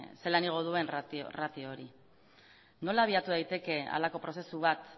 zelan igo duen ratio hori nola abiatu daiteke halako prozesu bat